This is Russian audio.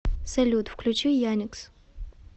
салют включи яникс